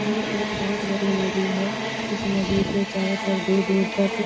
ये एक बहुत बड़ी नदी है | इस नदी के चारो तरफ दूर दूर तक --